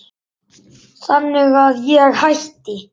Þannig að ég hætti.